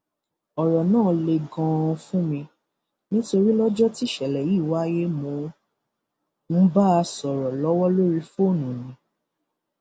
ọrọ náà le ganan fún mi nítorí lọjọ tíṣẹlẹ yìí wáyé mò ń bá a sọrọ lọwọ lórí fóònù ni